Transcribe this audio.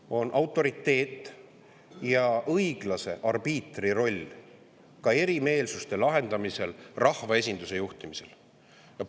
Ta on autoriteet ja tal on õiglase arbiitri roll erimeelsuste lahendamisel ja rahvaesinduse juhtimisel.